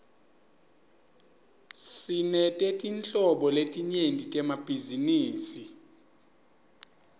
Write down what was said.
sinetetinhlobo letinyenti temabhizinisi